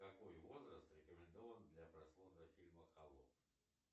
какой возраст рекомендован для просмотра фильма холоп